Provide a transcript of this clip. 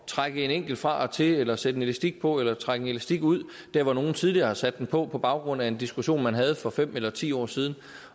trække en enkelt fra til eller sætte en elastik på eller trække en elastik ud der hvor nogen tidligere har sat den på på baggrund af en diskussion man havde for fem eller ti år siden